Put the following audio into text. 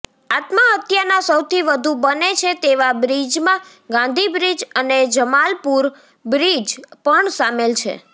આત્મહત્યાના સૌથી વધુ બને છે તેવા બ્રિજમાં ગાંધીબ્રિજ અને જમાલપુર બ્રિજ પણ સામેલ છે